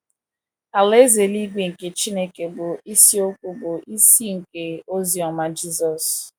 Alaeze eluigwe nke Chineke bụ isiokwu bụ́ isi nke ozi ọma Jisọs.